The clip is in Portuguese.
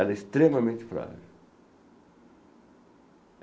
Ela é extremamente frágil.